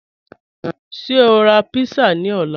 Ṣẹ o n ra pizza ni ọ̀lá?